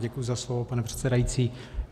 Děkuji za slovo, pane předsedající.